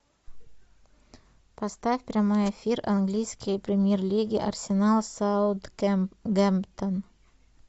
поставь прямой эфир английской премьер лиги арсенал саутгемптон